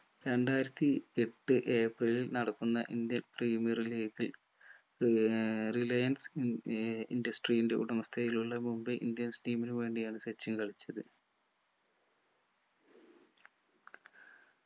രണ്ടായിരത്തി എട്ട് ഏപ്രിലിൽ നടക്കുന്ന indian premier league ഏർ റിലയൻസ് ഉം ഏർ industry ന്റെ ഉടമസ്ഥതയിലുള്ള മുംബൈ indians team നു വേണ്ടിയാണ് സച്ചിൻ കളിച്ചത്